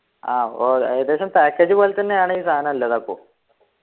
ആഹ് ഓ ഏകദേശം package പോലെത്തന്നെയാണ് ഈ സാനം ഇല്ലത് അപ്പൊ